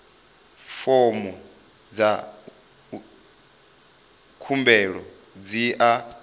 fomo dza khumbelo dzi a